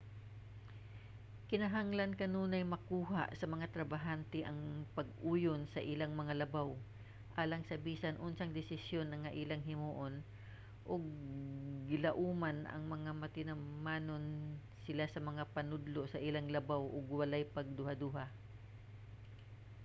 kinahanglan kanunay makuha sa mga trabahante ang pag-uyon sa ilang mga labaw alang sa bisan unsang desisyon nga ilang himuon ug gilauman nga magtinumanon sila sa mga panudlo sa ilang labaw ug walay pagduhaduha